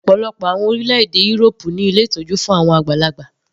Ọ̀pọ̀lọpọ̀ àwọn orílẹ̀-èdè írópù ní ilé ìtọ́jú fún àwọn àgbàlagbà.